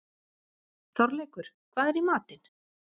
Þorleikur, hvað er í matinn?